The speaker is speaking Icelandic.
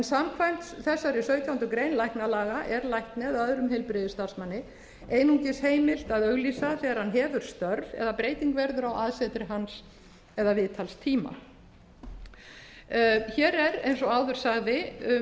samkvæmt þessari sautjándu grein læknalaga er lækni eða öðrum heilbirgiðsstarfsmanni einungis heimilt að auglýsa þegar hann hefur störf eða breyting verður á aðsetri hans eða viðtalstíma hér er eins og áður sagði um töluvert